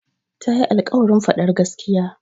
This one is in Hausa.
Ta yi alƙawarin faɗar gaskiya.